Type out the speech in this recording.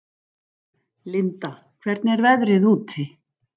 Linda, hvernig er veðrið úti?